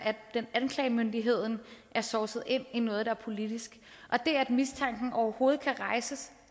anklagemyndigheden er sovset ind i noget der er politisk og det at mistanken overhovedet kan rejses